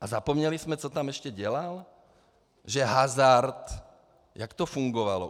A zapomněli jsme, co tam ještě dělal, že hazard - jak to fungovalo?